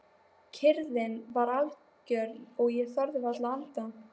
Kyrrðin var algjör og ég þorði varla að anda.